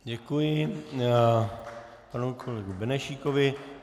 Děkuji panu kolegovi Benešíkovi.